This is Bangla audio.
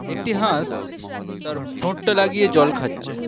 একটি হাঁস তার ঠোঁটটি লাগিয়ে জল খাচ্ছে।